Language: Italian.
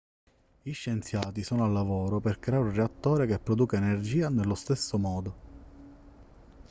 gli scienziati sono al lavoro per creare un reattore che produca energia nello stesso modo